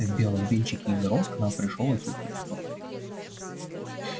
в белом венчике из роз к нам пришёл иисус христос